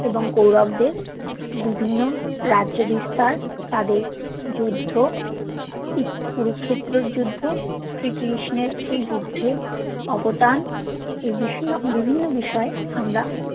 এবং কৌরবদের বিভিন্ন রাজ্য বিস্তার তাদের যুদ্ধ কুরুক্ষেত্রর যুদ্ধ শ্রী কৃষ্ণর সেই যুদ্ধ অবদান এই বিস্নো বিভিন্ন বিষয় আমরা